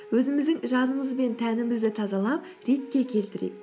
өзіміздің жанымыз бен тәнімізді тазалап ретке келтірейік